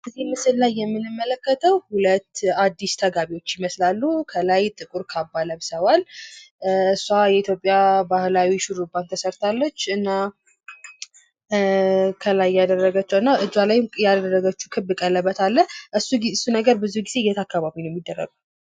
በዚህ ምስል ላይ የምንመለከተው ሁለት አዲስ ተጋቢዎች ይመስላሉ። ከላይ ጥቁር ካባ ለብሰዋል። እሷ የኢትዮጵያ ባህላዊ ሹርባ ተሰርታለች። እጇ ላይ ያደረገችው ክብ ቀለበት አለ። ይህ ቀለበት ብዙ ጊዜ የት አካባቢ ነው የሚደረገው?